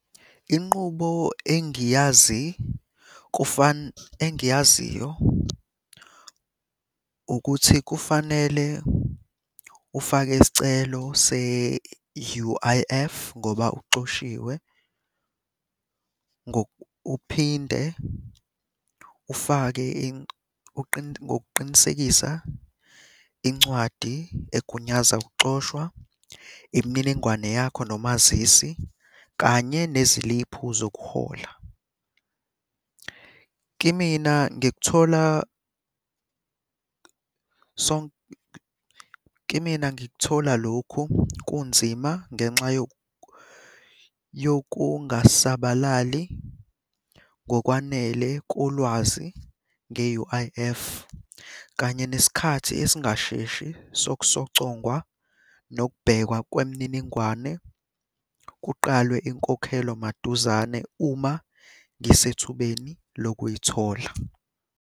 Inqubo engiyazi engiyaziyo ukuthi kufanele ufake isicelo se-U_I_F, ngoba uxoshiwe. Uphinde ufake ngokuqinisekisa incwadi egunyaza ukuxoshwa, imininingwane yakho nomazisi, kanye neziliphu zokuhola. Kimina ngikuthola , kimina ngikuthola lokhu kunzima, ngenxa yokungasabalali ngokwanele kolwazi nge-U_I_F, kanye nesikhathi esingasheshi sokusocongwa nokubhekwa kwemininingwane kuqalwe inkokhelo maduzane uma ngisethubeni lokuyithola.